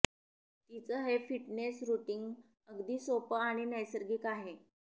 तिचं हे fitness routine अगदी सोपं आणि नैसर्गिक आहे